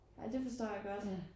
Ja det forstår jeg godt